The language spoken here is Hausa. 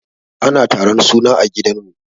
Ana taron suna a gidan mu.